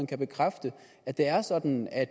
kan bekræfte at det er sådan at